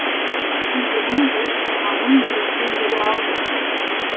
күлгенің жүріп тұрғаның мереке еді ау мен үшін